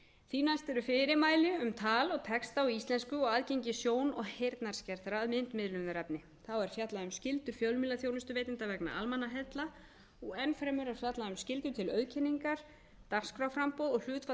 því næst eru fyrirmæli um tal og texta á íslensku og aðgengi sjón og heyrnarskertra að myndmiðlunarefni þá er fjallað um skyldu fjölmiðlaþjónustuveitenda vegna almannaheilla og enn fremur er fjallað um skyldu til auðkenningar dagskrárframboð og hlutfall